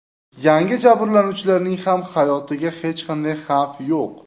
Yangi jabrlanuvchilarning ham hayotiga hech qanday xavf yo‘q.